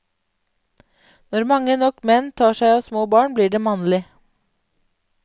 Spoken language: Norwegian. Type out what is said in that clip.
Når mange nok menn tar seg av småbarn blir det mannlig.